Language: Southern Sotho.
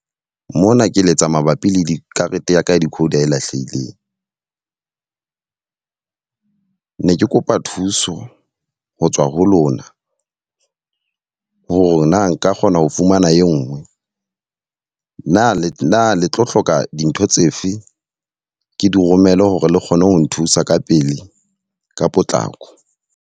Mona ke letsa mabapi le dikarete yaka ya decoder e lahlehileng. Ne ke kopa thuso ho tswa ho lona hore na nka kgona ho fumana e nngwe. Na le na le tlo hloka dintho tsefe ke di romele hore le kgone ho nthusa ka pele ka potlako?